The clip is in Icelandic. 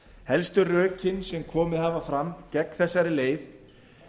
helstu rökin sem komið hafa fram gegn þessari leið